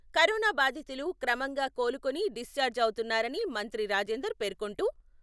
corona బాధితులు క్రమంగా కోలుకొని డిశ్చార్జ్ అవుతున్నారని మంత్రి రాజేందర్ పేర్కొంటూ...